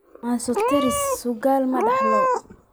Mosaika trisomy sagal ma la dhaxlo?